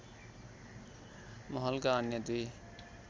महलका अन्‍य दुई